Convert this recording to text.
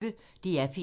DR P1